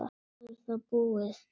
Svo er það búið.